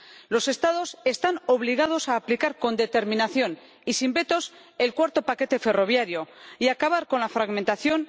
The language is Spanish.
Los Estados están obligados a aplicar con determinación y sin vetos el cuarto paquete ferroviario y acabar con la fragmentación.